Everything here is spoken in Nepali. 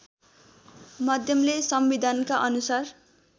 माध्यमले संविधानका अनुसार